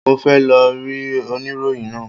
Mo fẹ́ lọ rí oníròyìn náà.